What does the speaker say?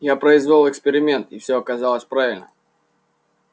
я произвёл эксперимент и всё оказалось правильно